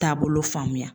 Taabolo faamuya